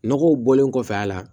Nɔgɔw bɔlen kɔfɛ a la